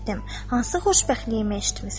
Hansı xoşbəxtliyimi eşitmisən?